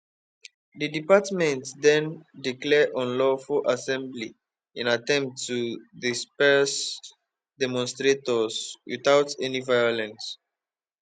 di department den declare unlawful assembly in attempt to disperse demonstrators witout any violence